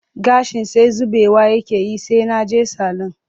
Gashin sai zubewa yake yi sai na je salun